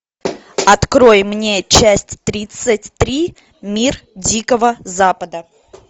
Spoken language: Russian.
открой мне часть тридцать три мир дикого запада